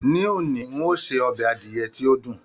Ní òní, ń ó se ọbẹ̀ adìyẹ tí ó dùn.